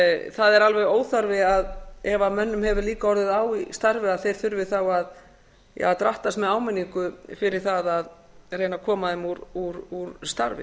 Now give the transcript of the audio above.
það er alveg óþarfi ef mönnum hefur líka orðið á í starfi að þeir þurfi þá að drattast með áminningu fyrir það að reyna að koma þeim úr starfi